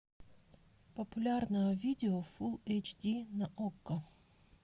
популярное видео фул эйч ди на окко